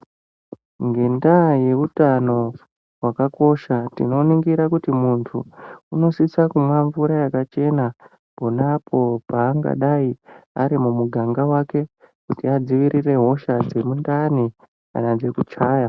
Ngendaa yehutano hwakakosha, tinoningire kuti muntu inosise kumwe mvura yakachena ponapo paangadai ari muganga mwake kuti adziirire hosha dzemundani kana dzekuchaya.